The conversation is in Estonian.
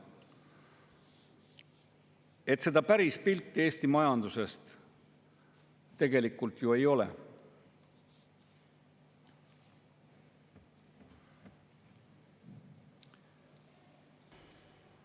Nii et päris pilti Eesti majandusest tegelikult ju ei ole.